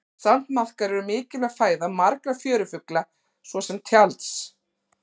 sandmaðkar eru mikilvæg fæða margra fjörufugla svo sem tjalds